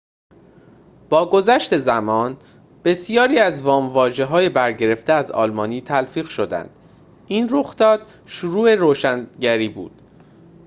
با گذشت زمان بسیاری از وام‌واژه‌های برگرفته از آلمانی تلفیق شدند این رخداد شروع روشنگری بود